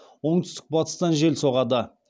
оңтүстік батыстан жел соғады